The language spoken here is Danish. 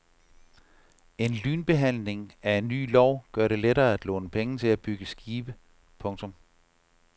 En lynbehandling af en ny lov gør det lettere at låne penge til at bygge skibe. punktum